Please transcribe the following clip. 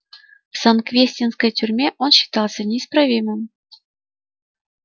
в санквестинской тюрьме он считался неисправимым